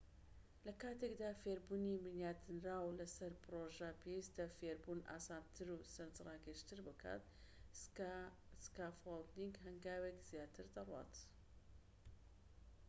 لە کاتێکدا فێربوونی بنیاتنراو لە سەر پرۆژە پێویستە فێربوون ئاسانتر و سەرنج ڕاکێشتر بکات سکافۆڵدینگ هەنگاوێک زیاتر دەڕوات